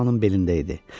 onun belində idi.